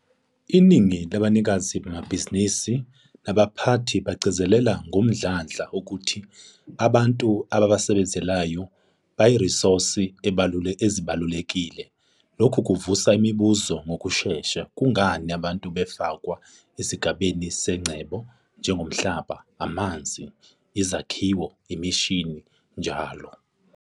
ININGI LABANIKAZI BAMABHIZINIZI - NABAPHATHI BAGCIZELELA NGOMDLANDLA UKUTHI ABANTU ABABASEBENZELAYO BAYIRISOSI EZIBALULEKILE. LOKHU KUVUSA IMIBUZO NGOKUSHESHA - KUNGANI ABANTU BAFAKWE ESIGABENI SENGCEBO, NJENGOMHLABA, AMANZI, IZAKHIWO, IMISHINI NJL?